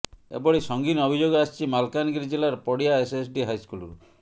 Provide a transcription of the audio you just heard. ଏଭଳି ସଂଗୀନ ଅଭିଯୋଗ ଆସିଛି ମାଲକାନଗିରି ଜିଲ୍ଲାର ପଡିଆ ଏସଏସଡି ହାଇସ୍କୁଲରୁ